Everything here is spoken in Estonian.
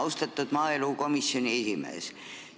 Austatud maaelukomisjoni esimees!